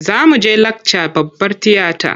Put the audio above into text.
Za mu je lakca babbar tiyata.